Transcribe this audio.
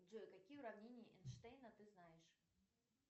джой какие уравнения эйнштейна ты знаешь